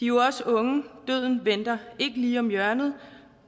jo også unge døden venter ikke lige om hjørnet